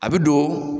A bɛ don